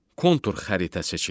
Kontur xəritə seçilir.